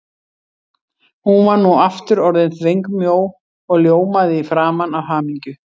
Hún var nú aftur orðin þvengmjó og ljómaði í framan af hamingju.